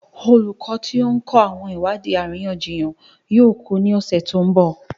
Olùkọ́ tí ó ń kọ́ àwọn ìwádìí àríyànjiyàn yóò kú ní ọ̀sẹ̀ tó ń bọ̀.